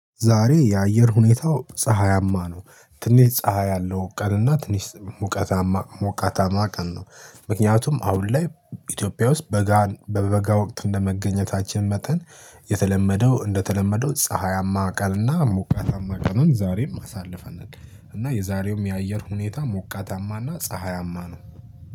ዛሬ የአየር ሁኔታው ፀሀያማ ነው ትንሽ ፀሀይ አለው ቀን እና ትንሽ ሙቀታማ ሙቀታማ ቀን ነው። ምክንያቱም አሁን ላይ ኢትዮጵያ ውስጥ በበጋ በበጋ ወቅት እንደመገኘታችን መጠን የተለመደው እንደተለመደው ፀሀያማ ቀን እና ሞቃታማ ቀንን ዛሬም አሳልፈናል። እና የዛሬውም የአየር ሁኔታ ሞቃታማና ፀሀያማ ነው።